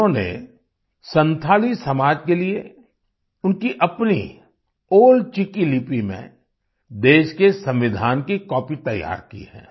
उन्होंने संथाली समाज के लिए उनकी अपनी ओल चिकी लिपि में देश के संविधान की कॉपी तैयार की है